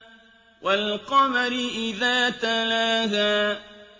وَالْقَمَرِ إِذَا تَلَاهَا